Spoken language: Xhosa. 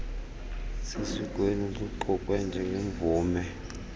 sesikweni luqukwe njengemvume